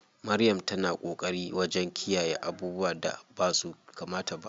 Maryam ta na ƙoƙari wajen kiyayye abubuwan da basu kamata ba.